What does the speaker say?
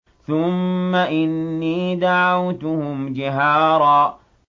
ثُمَّ إِنِّي دَعَوْتُهُمْ جِهَارًا